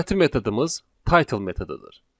Növbəti metodumuz title metodudur.